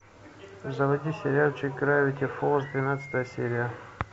заводи сериальчик гравити фолз двенадцатая серия